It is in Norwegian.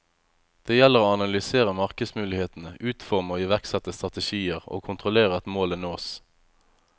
Det gjelder å analysere markedsmulighetene, utforme og iverksette strategier, og kontrollere at målene nås.